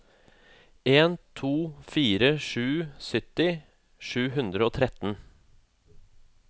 en to fire sju sytti sju hundre og tretten